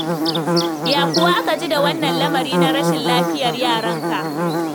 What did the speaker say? Ya kuwa aka ji da wannan lamari na rashin lafiyar yaranka?